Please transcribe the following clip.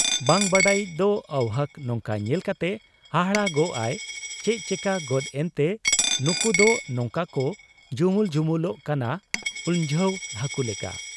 ᱵᱟᱝ ᱵᱟᱰᱟᱭᱤᱡ ᱫᱚ ᱟᱹᱣᱦᱟᱹᱠ ᱱᱚᱝᱠᱟ ᱧᱮᱞ ᱠᱟᱛᱮ ᱦᱟᱦᱟᱲᱟᱜ ᱟᱭ ᱾ ᱪᱮᱫ ᱪᱮᱠᱟᱹᱜᱚᱫ ᱮᱱᱛᱮ ᱱᱩᱠᱩᱫᱚ ᱱᱚᱝᱠᱟ ᱠᱚ ᱡᱩᱢᱩᱞ ᱡᱩᱢᱩᱞᱚᱜ ᱠᱟᱱᱟ ᱩᱱᱡᱷᱟᱹᱣ ᱦᱟᱹᱠᱩ ᱞᱮᱠᱟ ?